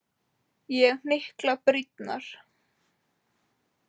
Ég hnykla brýnnar.